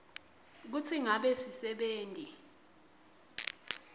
kutsi ngabe sisebenti